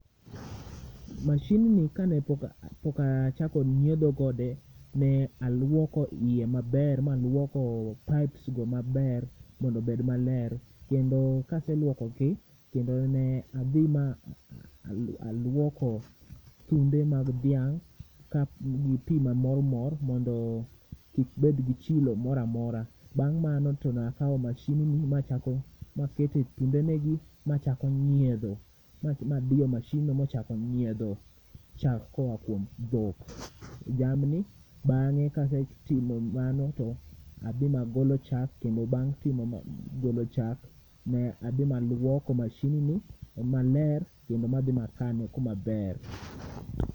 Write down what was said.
Machine ka ne pok a chako nyiedho kode ne aluoko iye maber ma aluoko pipes]go maber mondo obed ma ler kendo ka aselwoko gi to ne adhi ma aluoko thunde mag dhiang gi pii ma mor mor mondo kik bed gi chilo moro a mora bang mano to ne akawo machine ni ma keto dhunde ne gi ma chako dhiedho ma diyo mashindni ma ochako nyiedho chak moa kuom dhok, jamni bange ka asetimo mano to a dhi ma agolo chak kendo bang golo chak ne adhi ma luoko mashidni maler kendo ma dhi ma kane kuma ber.